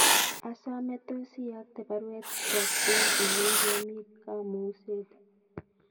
Asome tos iyokte baruet kwo John ilenchi omi kamungset